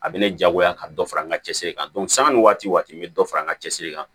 A bɛ ne diyagoya ka dɔ fara n ka cɛsiri kan sanni waati waati n bɛ dɔ fara n ka cɛsiri kan